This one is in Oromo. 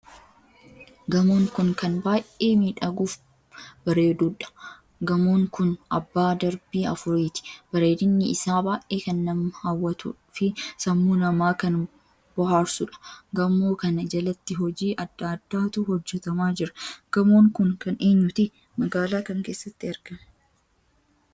Gamoon kun kan baay'ee miidhaguuf bareedduudha .gamoon kun abbaa darbii afuriiti. bareedinni isaa baay'ee kan nam hawwatu fi sammuu namaa kan booharsuudha. gamoo kana jalatti hojii addaa addaatu hojjetamaa jira. Gamoon kun kan eenyuti? magaalaa kam keessatti argama?